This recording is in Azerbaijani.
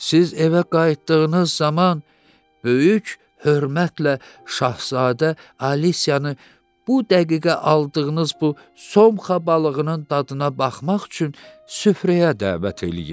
Siz evə qayıtdığınız zaman böyük hörmətlə Şahzadə Alisiyanı bu dəqiqə aldığınız bu somxa balığının dadına baxmaq üçün süfrəyə dəvət eləyin.